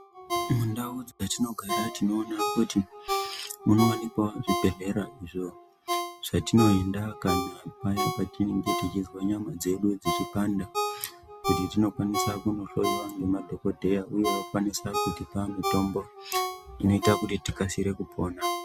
Mundau dzatinogara tinona kuti munovanikwavo zvibhedhlera izvo zvatinoenda kana paya patinenge tichizwa nyama dzedu dzichipanda. Kuti tinokwanisa kunohlowa ngemadhodheya, uye vokwanisa kutipa mitombo inoita kuti tikasire kupona.